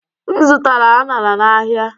M zụtara aṅara n'ahịa.